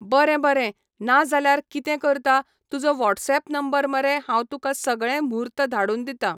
बरें बरें ना जाल्यार कितें करता तुजो वॉट्सॅप नंबर मरे हांव तुका सगळें म्हूर्त धाडून दिता